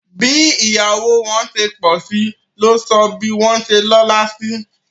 Bí ìyàwó wọn ṣe pọ̀sí ló sọ bí wọ́n ṣe lọ́la sí